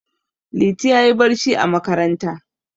Liti ya yi barci a makaranta.